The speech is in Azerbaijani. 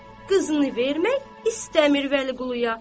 Təki qızını vermək istəmir Vəliquluya.